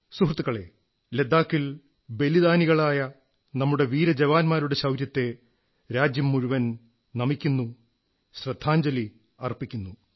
സുഹൃത്തുക്കളേ ലഡാക്കിൽ നമ്മുടെ ബലിദാനികളായ വീര ജവാരുടെ ശൌര്യത്തെ രാജ്യം മുഴുവൻ നമിക്കുന്നു ശ്രദ്ധാഞ്ജലി അർപ്പിക്കുന്നു